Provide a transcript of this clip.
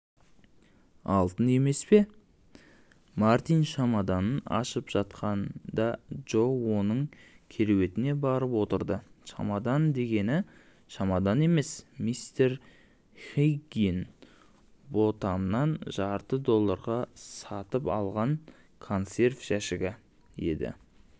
алтын емес пе мартин шамаданын ашып жатқанда джо оның керуетіне барып отырды шамадан дегені шамадан емес мистер хиггинботамнан жарты долларға сатып алған консерв жәшігі еді